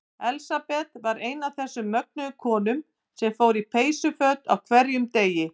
Elsabet var ein af þessum mögnuðu konum sem fór í peysuföt á hverjum degi.